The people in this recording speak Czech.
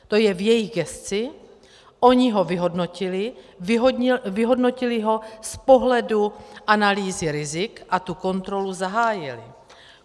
To je v jejich gesci, oni ho vyhodnotili, vyhodnotili ho z pohledu analýzy rizik a tu kontrolu zahájili.